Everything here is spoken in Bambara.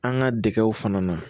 An ka degew fana na